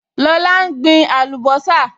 Lọlá n gbin àlùbọ́sà